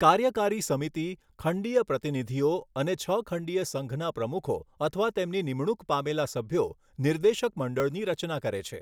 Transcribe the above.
કાર્યકારી સમિતિ, ખંડીય પ્રતિનિધિઓ અને છ ખંડીય સંઘના પ્રમુખો અથવા તેમની નિમણૂંક પામેલા સભ્યો નિર્દેશક મંડળની રચના કરે છે.